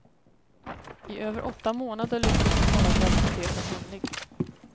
I över åtta månader lyckades hon hålla graviditeten hemlig.